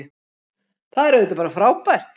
Það er auðvitað bara frábært